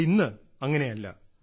എന്നാൽ ഇന്നത് അങ്ങനെയല്ല